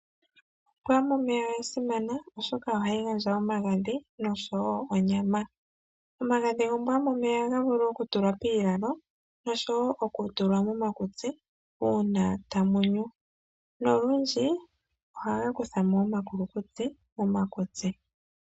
Ombwa yomomeya oya simana oshoka ohayi gandja omagadhi, noshowo onyama. Omagadhi gombwa yomomeya ohaga vulu okutulwa piilalo, noshowo okutulwa momakutsi uuna tamu nyu. Nolundji ohaga kuthamo omakulukutsi.